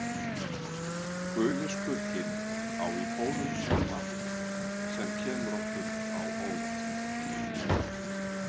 Guli skugginn á í fórum sínum margt, sem kemur okkur á óvart.